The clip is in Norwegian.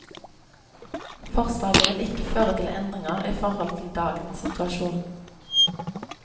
Forslaget vil ikke føre til endringer i forhold til dagens situasjon.